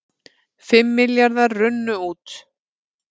Fimm milljarðar runnu út